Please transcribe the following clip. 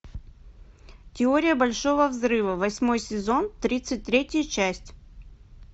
теория большого взрыва восьмой сезон тридцать третья часть